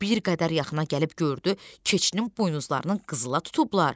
Bir qədər yaxına gəlib gördü, keçinin buynuzlarının qızıla tutublar.